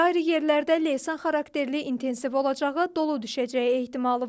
Ayrı-ayrı yerlərdə leysan xarakterli intensiv olacağı, dolu düşəcəyi ehtimalı var.